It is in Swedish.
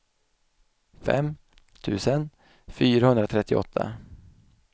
fem tusen fyrahundratrettioåtta